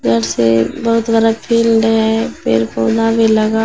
से बहुत बड़ा फील्ड है पेड़ पौधा भी लगा--